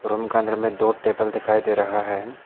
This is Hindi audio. रूम का अंदर में दो टेबल दिखाई दे रहा है।